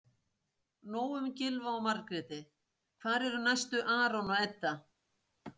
Nóg um Gylfa og Margréti- hvar eru næstu Aron og Edda?